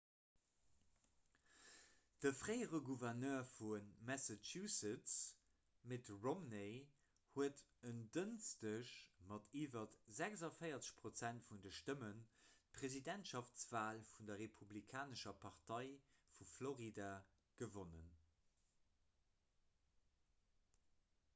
de fréiere gouverneur vu massachusetts mitt romney huet en dënschdeg mat iwwer 46 prozent vun de stëmmen d'presidentschaftswal vun der republikanescher partei vu florida gewonnen